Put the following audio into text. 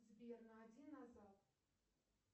сбер на один назад